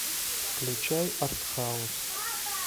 включай артхаус